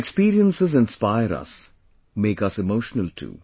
Her experiences inspire us, make us emotional too